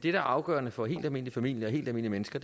er afgørende for helt almindelige familier og helt almindelige mennesker